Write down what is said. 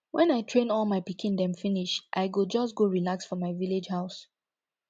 wen i train all my pikin dem finish i go just go relax for my village house